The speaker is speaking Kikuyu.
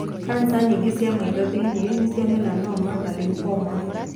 Kanca nyingĩ cia maitho thĩ-inĩ nĩ cia melanoma na lymphoma.